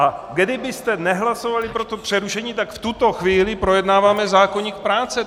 A kdybyste nehlasovali pro to přerušení, tak v tuto chvíli projednáváme zákoník práce.